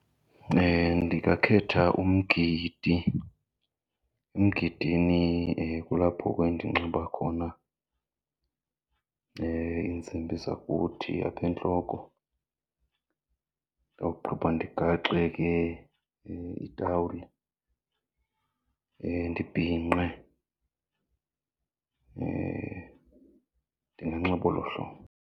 Ndingakhetha umgidi. Umgidini kulapho ke ndinxiba khona iintsimbi zakuthi apha entloko, ndawugqiba ndigaxe ke itawuli, ndibhinqe. Ndinganxiba olo hlobo.